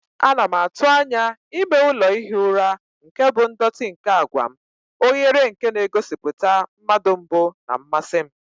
Ana m atụ anya ime ụlọ ihi ụra nke bụ ndọtị nke àgwà m, oghere nke na-egosipụta mmadu mbu na mmasị m.